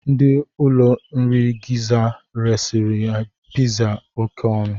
Ndị ụlọ nri Gizza resịrị gị pizza a oké ọnụ.